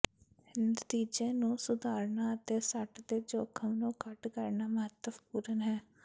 ਨਤੀਜੇ ਨੂੰ ਸੁਧਾਰਨਾ ਅਤੇ ਸੱਟ ਦੇ ਜੋਖਮ ਨੂੰ ਘੱਟ ਕਰਨਾ ਮਹੱਤਵਪੂਰਨ ਹੈ